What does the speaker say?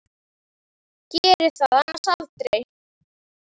Gerði það annars aldrei.